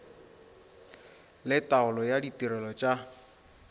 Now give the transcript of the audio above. le taolo ya ditirelo tša